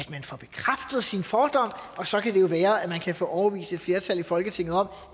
sker sin fordom og så kan det jo være at man kan få overbevist et flertal i folketinget om